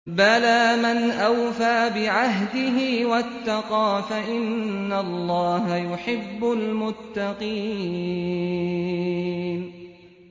بَلَىٰ مَنْ أَوْفَىٰ بِعَهْدِهِ وَاتَّقَىٰ فَإِنَّ اللَّهَ يُحِبُّ الْمُتَّقِينَ